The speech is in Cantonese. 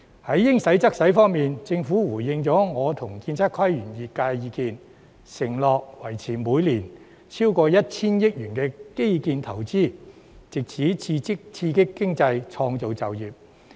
按照"應使則使"的原則，政府回應了我與建築、測量、都市規劃及園境業界的意見，承諾維持每年超過 1,000 億元基建投資，藉此刺激經濟，創造就業。